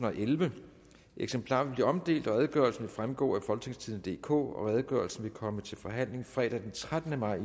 og ellevte eksemplarer vil blive omdelt og redegørelsen vil fremgå af folketingstidende DK redegørelsen vil komme til forhandling fredag den trettende maj